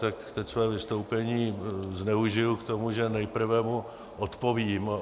Tak teď své vystoupení zneužiji k tomu, že nejprve mu odpovím.